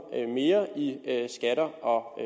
mere i skatter og